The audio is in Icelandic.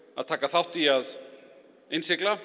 að taka þátt í að innsigla